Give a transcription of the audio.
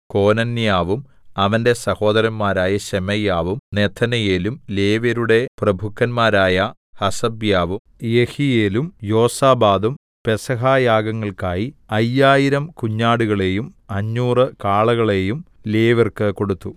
കോനന്യാവും അവന്റെ സഹോദരന്മാരായ ശെമയ്യാവും നെഥനയേലും ലേവ്യരുടെ പ്രഭുക്കന്മാരായ ഹസബ്യാവും യെഹീയേലും യോസാബാദും പെസഹ യാഗങ്ങൾക്കായി അയ്യായിരം കുഞ്ഞാടുകളെയും അഞ്ഞൂറ് കാളകളെയും ലേവ്യർക്ക് കൊടുത്തു